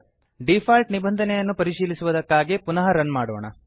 default ನಿಬಂಧನೆಯನ್ನು ಪರಿಶೀಲಿಸುವುದಕ್ಕಾಗಿ ಪುನಃ ರನ್ ಮಾಡೋಣ